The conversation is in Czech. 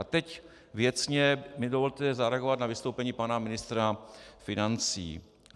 A teď věcně mi dovolte zareagovat na vystoupení pana ministra financí.